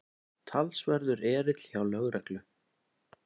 Talsverður erill hjá lögreglu